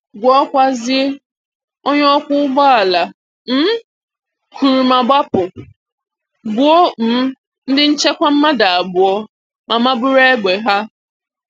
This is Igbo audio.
Guokwazie: onye okwo ụgbọala um kụrụ ma gbapụ, gbuo um ndị nchekwa mmadụ abụọ, ma bụrụ egbe ha